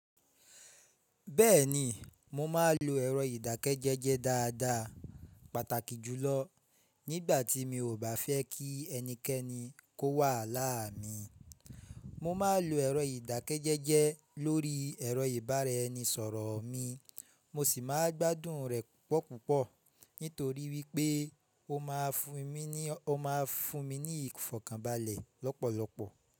Bẹ́ẹ̀ni, mo máa ń lo ẹ̀rọ ìdákẹ́jẹ́jẹ́ dáadáa pàtàkì jùlọ nígbà tí mi ò bá fẹ́ kí ẹnikẹ́ni kó wà láàá mi. Mo máa ń lo ẹ̀rọ ìdákẹ́jẹ́jẹ́ lórí ẹ̀rọ ìbárẹni sọ̀rọ̀ mi, mo sì máa gbádùn rẹ̀ púpọ̀ púpọ̀ nítorí wí pé ó máa fún mi ní, ó máa fún mi ní ìfọ̀kàbàlẹ̀ lọ́pọ̀lọpọ̀.